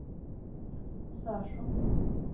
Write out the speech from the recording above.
сашу